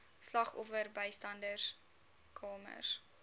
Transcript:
slagoffer bystandskamers